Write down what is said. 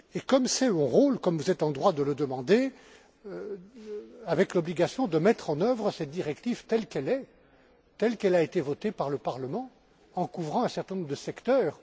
Comme c'est mon rôle, comme vous êtes en droit de le demander, j'ai l'obligation de mettre en œuvre cette directive telle qu'elle est, telle qu'elle a été votée par le Parlement, en couvrant un certain nombre de secteurs.